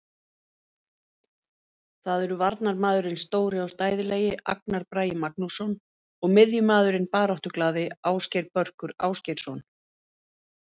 Það eru varnarmaðurinn stóri og stæðilegi Agnar Bragi Magnússon og miðjumaðurinn baráttuglaði Ásgeir Börkur Ásgeirsson.